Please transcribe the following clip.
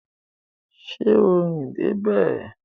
Ṣé o rìn dé bẹ̀?